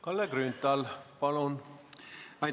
Kalle Grünthal, palun!